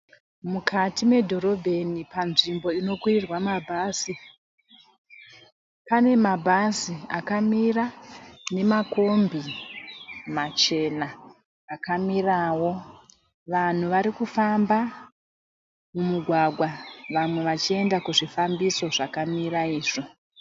Mukati medhorobheni panzvimbo inokwirirwa mabhazi. Pane mabhazi akamira nemakombi machena akamirawo. Vanhu varikufamba mumugwagwa vamwe vachienda kuzvifambiso zvakamira izvo.